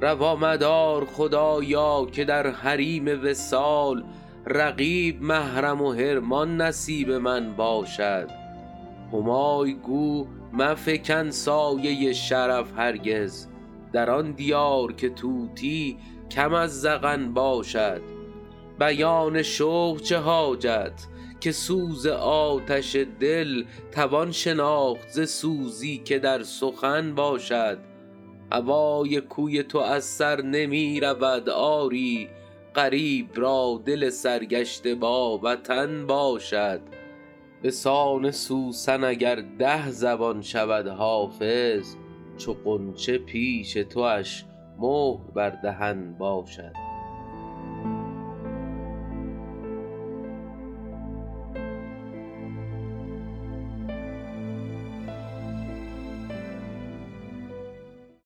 روا مدار خدایا که در حریم وصال رقیب محرم و حرمان نصیب من باشد همای گو مفکن سایه شرف هرگز در آن دیار که طوطی کم از زغن باشد بیان شوق چه حاجت که سوز آتش دل توان شناخت ز سوزی که در سخن باشد هوای کوی تو از سر نمی رود آری غریب را دل سرگشته با وطن باشد به سان سوسن اگر ده زبان شود حافظ چو غنچه پیش تواش مهر بر دهن باشد